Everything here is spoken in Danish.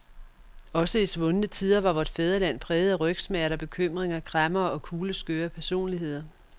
Også i svundne tider var vort fædreland præget af rygsmerter, bekymringer, kræmmere og kugleskøre personligheder.